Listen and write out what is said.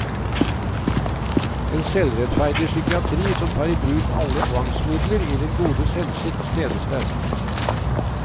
En selvrettferdig psykiatri som tar i bruk alle tvangsmidler i den gode hensikts tjeneste.